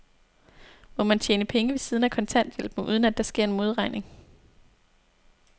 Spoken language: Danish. Må man tjene penge ved siden af kontanthjælpen, uden at der sker en modregning?